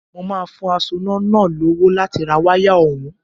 Mo máa fún asoná náà lówó láti ra wáyà ọ̀hún